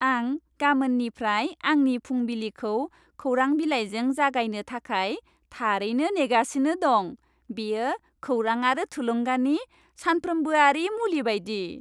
आं गामोननिफ्राय आंनि फुंबिलिखौ खौरां बिलाइजों जागायनो थाखाय थारैनो नेगासिनो दं। बेयो खौरां आरो थुलुंगानि सानफ्रोम्बोआरि मुलि बायदि।